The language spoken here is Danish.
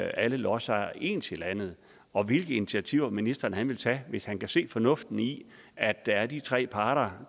alle lodsejere ens i landet og hvilke initiativer vil ministeren tage hvis han kan se fornuften i at der er de tre parter